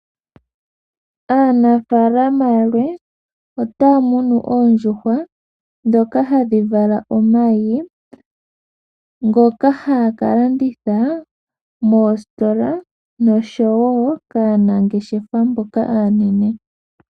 Aanafaalama yalwe ota ya tekula oondjuhwa ndhoka hadhi vala omayi ngoka ha ya kalanditha moositola noshowo kaanangeshefa mboka aanene.